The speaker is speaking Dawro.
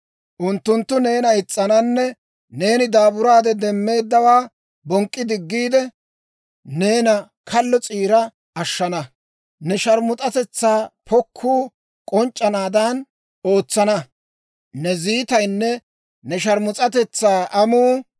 Unttunttu neena is's'ananne neeni daaburaade demmeeddawaa bonk'k'i diggiide, neena kallo s'iira ashshana. Ne sharmus'atetsaa pokkuu k'onc'c'anaadan ootsana. Ne ziitaynne ne sharmus'atetsaa amuu,